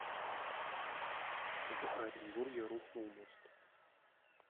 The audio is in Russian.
в оренбурге рухнул мост